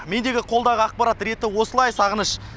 мендегі қолдағы ақпарат реті осылай сағыныш